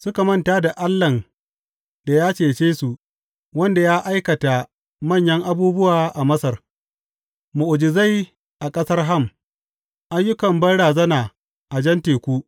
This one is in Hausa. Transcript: Suka manta da Allahn da ya cece su, wanda ya aikata manyan abubuwa a Masar, mu’ujizai a ƙasar Ham ayyukan banrazana a Jan Teku.